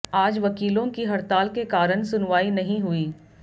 आज वकीलों की हड़ताल के कारण सुनवाई नहीं हुर्इ